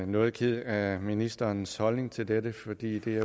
noget kede af ministerens holdning til dette for det er